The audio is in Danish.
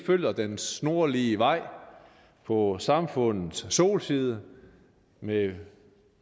følger den snorlige vej på samfundets solside med